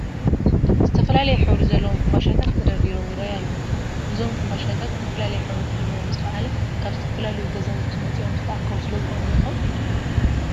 ዝተፈላለየ ሕብሪ ዘለዎም ሕንባሻታት ተደርዲሮም ይርአዩ ኣለዉ፡፡ እዞም ሕንባሻታት ዝተፈላለየ ሕብሪ ክህልዎም ዝኸኣለ ካብ ዝተፈላለዩ ገዛውቲ መፂኦም ዝተኣከቡ ስለዝኾኑ ዶ ይኸውን?